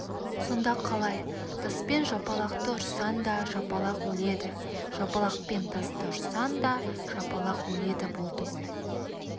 сонда қалай таспен жапалақты ұрсаң да жапалақ өледі жапалақпен тасты ұрсаң да жапалақ өледі болды ғой